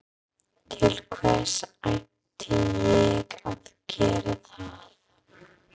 Til hvers ætti ég að gera það?